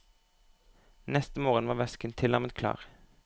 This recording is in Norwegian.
Neste morgen var væsken tilnærmet klar.